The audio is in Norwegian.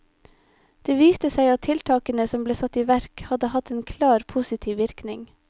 Det viste seg at tiltakene som ble satt i verk hadde hatt en klar positiv virkning.